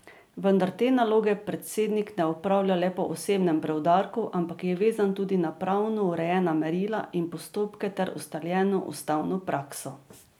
Vendar te naloge predsednik ne opravlja le po osebnem preudarku, ampak je vezan tudi na pravno urejena merila in postopke ter ustaljeno ustavno prakso.